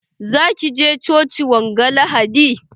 Za ki je coci wanga lahadi?